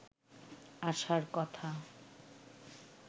আশার কথা